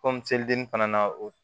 selidenni fana na o